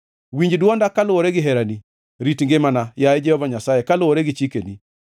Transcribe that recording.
Winj dwonda kaluwore gi herani; rit ngimana, yaye Jehova Nyasaye, kaluwore gi chikeni.